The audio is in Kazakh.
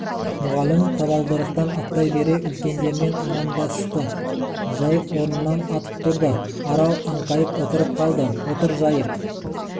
мүғалім табалдырықтан аттай бере үлкендермен амандасты жайық орнынан атып тұрды арал аңқайып отырып қалды отыр жайық